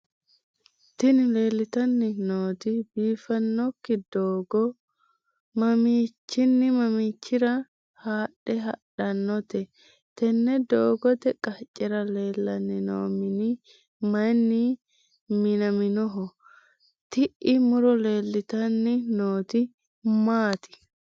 tini leeltanni nooti biiffinokki doogo mamiichinni mamiichira haadhe hadhannote? tenne doogote qaccera leellanni noo mini mayiinni minnoonniho? tii'i muro leeltanni nooti maati?